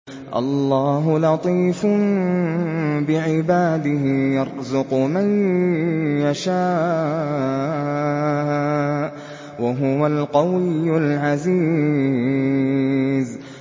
اللَّهُ لَطِيفٌ بِعِبَادِهِ يَرْزُقُ مَن يَشَاءُ ۖ وَهُوَ الْقَوِيُّ الْعَزِيزُ